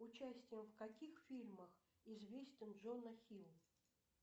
участием в каких фильмах известен джона хилл